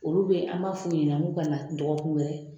Olu bɛ an b'a fɔ u ɲɛna k'u ka na dɔgɔkun wɛrɛ